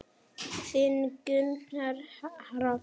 Þinn Gunnar Hrafn.